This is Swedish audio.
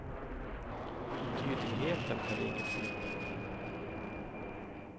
Tydligheten är det inget fel på.